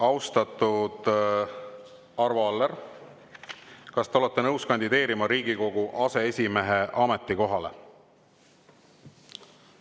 Austatud Arvo Aller, kas te olete nõus kandideerima Riigikogu aseesimehe ametikohale?